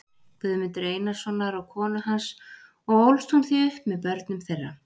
Guðmundar Einarssonar og konu hans og ólst hún því upp með börnum þeirra.